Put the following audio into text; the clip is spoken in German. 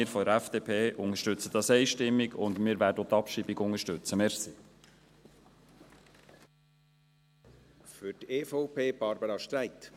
Wir von der FDP unterstützen es einstimmig und werden auch die Abschreibung unterstützen.